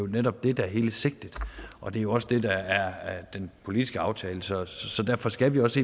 netop det der er hele sigtet og det er jo også det der er den politiske aftale så så derfor skal vi også